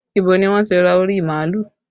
Ibo ni wọ́n ti ra orí màálù?